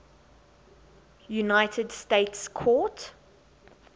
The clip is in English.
united states court